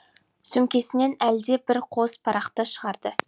сөмкесінен әлде бір қос парақты шығарды